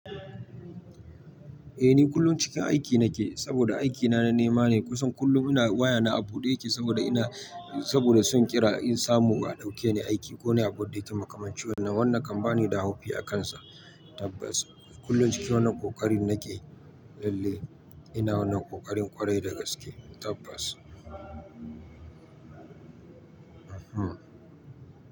Eh ni kullum cikin aiki nake saboda aikina na nema ne kusan kullum wayata a bude take saboda ina, saboda son ƙira in samu a ɗauke ni aiki ko na buɗe ta makamancin wannan wannan kam banida haufi akansa tabbas. Kullum cikin wannan ƙoƙarin nake lallai ina wannan ƙoƙarin ƙwarai da gaske tabbas.